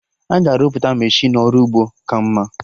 Aga arụpụta Meshịnụ ọrụ ugbo ka mma